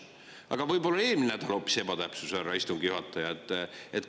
Aga võib-olla oli hoopis eelmine nädal ebatäpsus, härra istungi juhataja?